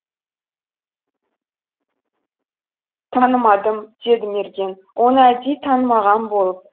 танымадым деді мерген оны әдейі танымаған болып